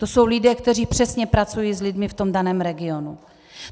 To jsou lidé, kteří přesně pracují s lidmi v tom daném regionu.